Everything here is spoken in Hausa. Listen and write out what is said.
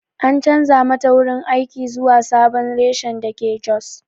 An chanza mata wurin aiki zuwa sabon reshen dake jos.